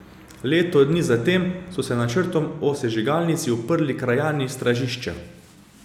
Leto dni zatem so se načrtom o sežigalnici uprli krajani Stražišča.